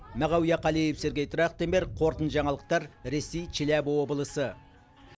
мағауия қалиев сергей трахтенберг қорытынды жаңалықтар ресей челябі облысы